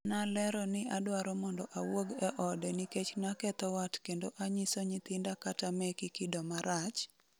'Nalero ni adwaro mondo awuog e ode nikech naketho wat kendo anyiso nyithinda kata meki kido marach,''